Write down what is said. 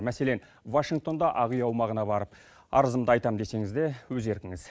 мәселен вашингтонда ақ үй аумағына барып арызымды айтамын десеңіз де өз еркіңіз